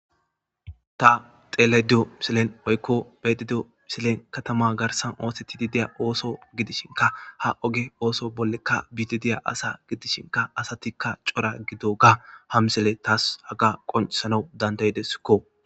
ta xelediyo misilen oykko bedidiyo misilen katama garsan ooseti diya ooso gidishinka ha oge ooso bollekka biitidiya asa gidishinka asatikka cora gido ga hamisele taas haga qonsana dandaydesikko